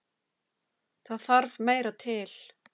Það þarf meira til.